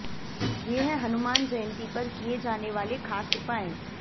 ये है हनुमान जयंती पर किये जाने वाले ख़ास उपाय